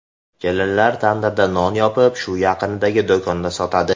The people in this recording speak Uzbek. Kelinlar tandirda non yopib, shu yaqindagi do‘konda sotadi.